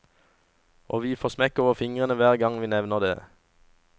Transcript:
Og vi får smekk over fingrene hver gang vi nevner det.